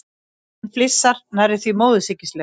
Hann flissar, nærri því móðursýkislega.